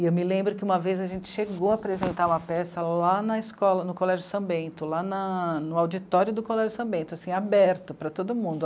E eu me lembro que uma vez a gente chegou a apresentar uma peça lá na escola, no Colégio São Bento, lá na... no auditório do Colégio São Bento, assim, aberto para todo mundo.